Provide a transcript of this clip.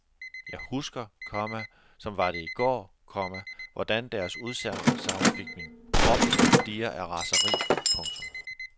Jeg husker, komma som var det i går, komma hvordan deres udsagn fik min krop til at dirre af raseri. punktum